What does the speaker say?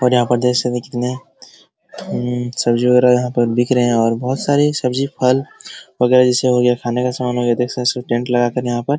और यहाँ पर देख सकते हैं कितने अम्म सब्जी वगैरह यहाँ पर दिख रहे हैं और बहुत सारे सब्जी फल वगैरा जैसे हो गया खाने का समान हो गया टेंट लगाकर यहाँ पर |